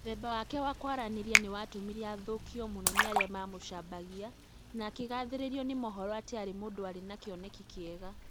mũthemba wake wa kwaranĩria nĩ watũmire athũkio mũno nĩ arĩa maamũcambagia, na akĩgathĩrĩrio nĩ mohoro atĩ aarĩ mũndũ warĩ na kĩoneki kĩega.